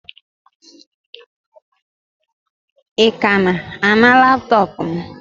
Ị ka na-ana laptọọpụ m?